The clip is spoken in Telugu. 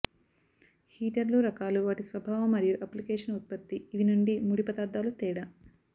హీటర్లు రకాలు వాటి స్వభావ మరియు అప్లికేషన్ ఉత్పతి ఇవి నుండి ముడి పదార్థాలు తేడా